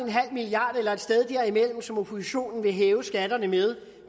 milliard kroner eller et sted derimellem som oppositionen vil hæve skatterne med